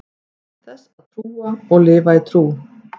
þess að trúa og lifa í trú